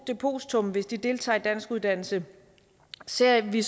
depositum hvis de deltager i danskuddannelse ser vi